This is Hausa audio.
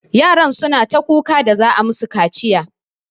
Yaran suna ta kuka da za'a yi musu kaciya.